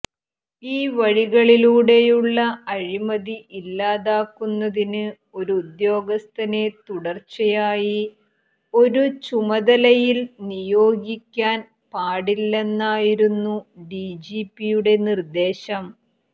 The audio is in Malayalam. ഈ വഴികളിലൂടെയുള്ള അഴിമതി ഇല്ലാതാക്കുന്നതിന് ഒരുദ്യോഗസ്ഥനെ തുടർച്ചയായി ഒരു ചുമതലയിൽ നിയോഗിക്കാൻ പാടില്ലെന്നായിരുന്നു ഡിജിപിയുടെ നിർദേശം